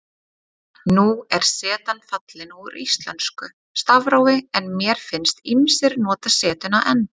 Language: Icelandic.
Nú er zetan fallin úr íslensku stafrófi en mér finnst ýmsir nota zetuna enn.